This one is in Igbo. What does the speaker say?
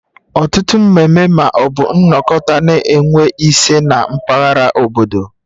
Ọtụtụ mmeme ma ọ bụ nnokota na enwe ise na mpaghara obodo